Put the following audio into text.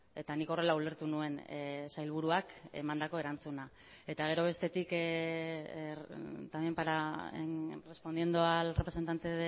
eta nik horrela ulertu nuen sailburuak emandako erantzuna eta gero bestetik también para respondiendo al representante